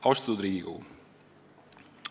Austatud Riigikogu!